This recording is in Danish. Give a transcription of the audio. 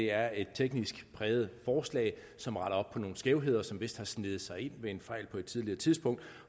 er et teknisk præget forslag som retter op på nogle skævheder som vist har sneget sig ind ved en fejl på et tidligere tidspunkt